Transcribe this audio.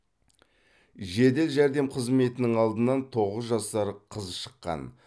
жедел жәрдем қызметінің алдынан тоғыз жасар қыз шыққан